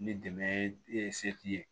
Ni dɛmɛ ye se t'i ye